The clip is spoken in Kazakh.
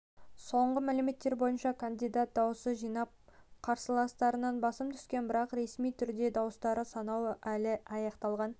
соңғы мәліметтер бойынша кандидат дауыс жинап қарсыласынан басым түскен бірақ ресми түрде дауыстарды санау әлі аяқталған